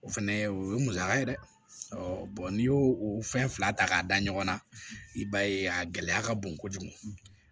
O fɛnɛ o ye musaka ye dɛ n'i y'o o fɛn fila ta k'a da ɲɔgɔn na i b'a ye a gɛlɛya ka bon kojugu